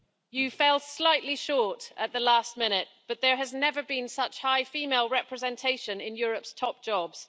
You fell slightly short at the last minute, but there has never been such high female representation in Europe's top jobs.